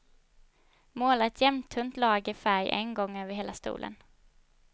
Måla ett jämntunt lager färg en gång över hela stolen.